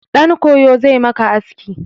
Ɗan koyo zai maka aski.